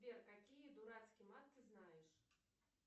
сбер какие дурацкий мат ты знаешь